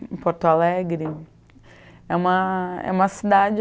Porto Alegre é uma, é uma cidade